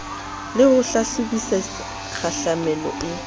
le ho hlahlobisisa kgahlamelo e